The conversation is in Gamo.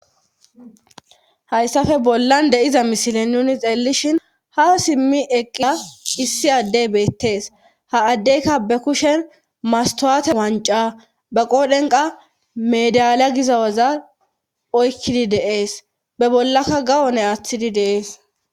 Hayssafe bollan deiza mishilin nuni xeellishin haw simmi eqa issi addey beettees ha addeyka be kushen mastwaate wanca be qoodhenqa medalya giza waza oykkidi deees be bollakka gawone aaththidi deees